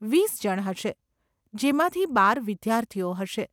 વીસ જણ હશે, જેમાંથી બાર વિદ્યાર્થીઓ હશે.